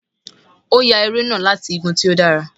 O ya eré nah latí igùn tí o dàrá